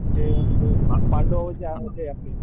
जे म्हणजे पांडव जे आहे ते आपले,